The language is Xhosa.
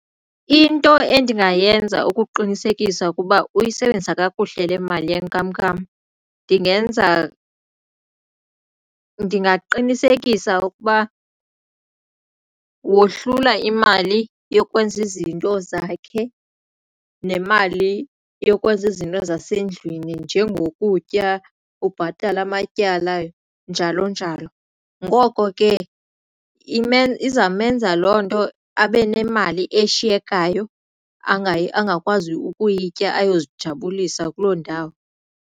Into endingayenza ukuqinisekisa ukuba uyisebenzisa kakuhle le mali yenkamnkam ndingenza ndingaqinisekisa ukuba wohlula imali yokwenza izinto zakhe nemali yokwenza izinto zasendlini njengokutya ubhatale amatyala njalo njalo. Ngoko ke izamenza loo nto abe nemali eshiyekayo angakwazi ukuyitya ayozijabulisa kuloo ndawo.